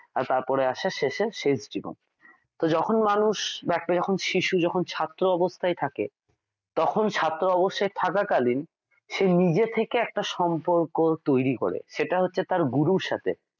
তারপরে আসে শেষে শেষ জীবন তো যখন মানুষ বা একটা যখন শিশু যখন ছাত্র অবস্থায় থাকে তখন ছাত্র অবস্থায় থাকাকালী সে নিজে থেকে একটা সম্পর্ক তৈরি করে সেটা হচ্ছে তার গুরুর সাথে